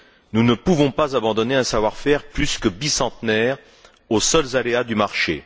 Nous ne pouvons pas abandonner un savoir faire plus que bicentenaire aux seuls aléas du marché.